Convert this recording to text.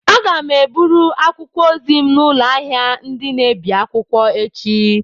Aga m eburu akwụkwọ ozi m n'ụlọ ahịa ndị na-ebi akwụkwọ echi.